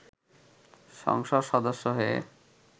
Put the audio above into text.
সংসদ সদস্য হয়ে